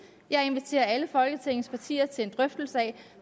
jeg inviterer alle folketingets partier til en drøftelse af